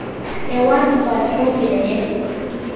Ewaki paspoti enye.